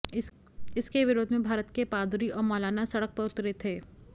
इसके विरोध में भारत के पादरी और मौलाना सडक पर उतरे थे